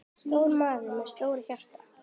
Stór maður með stórt hjarta.